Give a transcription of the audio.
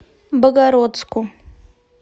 богородску